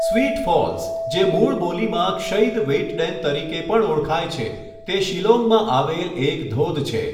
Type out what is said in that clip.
Sweet falls, જે મૂળ બોલીમાં ક્ષૈદ વેઇટડેન તરીકે પણ ઓળખાય છે, તે શિલોંગમાં આવેલ એક ધોધ છે.